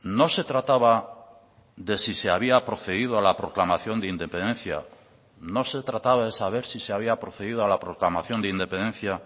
no se trataba de si se había procedido a la proclamación de independencia no se trataba de saber si se había procedido a la proclamación de independencia